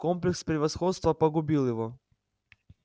комплекс превосходства погубил его